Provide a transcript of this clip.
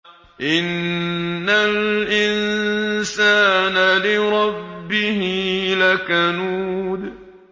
إِنَّ الْإِنسَانَ لِرَبِّهِ لَكَنُودٌ